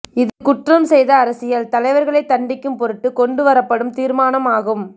இது குற்றம் செய்த அரசியல் தலைவர்களை தண்டிக்கும் பொருட்டு கொண்டு வரப்படும் தீர்மானம் ஆகும்